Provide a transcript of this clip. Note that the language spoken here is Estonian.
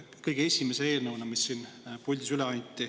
See oli üks esimesi eelnõusid, mis siin puldis üle anti.